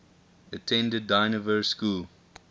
attended dynevor school